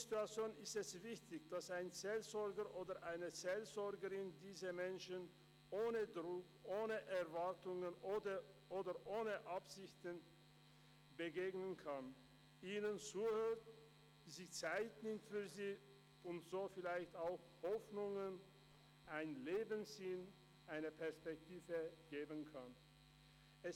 In solchen Situationen ist es wichtig, dass ein Seelsorger oder eine Seelsorgerin diesen Menschen ohne Druck, ohne Erwartungen oder ohne Absichten begegnen kann, ihnen zuhört, sich Zeit nimmt für sie und ihnen damit vielleicht auch Hoffnung, einen Lebenssinn, eine Perspektive geben kann.